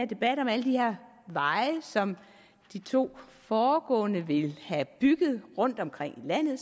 debat om alle de her veje som de to foregående talere vil have bygget rundtomkring i landet